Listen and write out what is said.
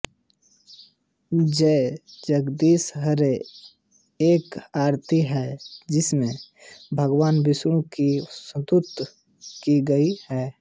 जय जगदीश हरे एक आरती है जिसमेँ भगवान विष्णु की स्तुति की गयी है